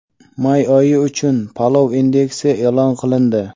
May oyi uchun "palov indeksi" e’lon qilindi.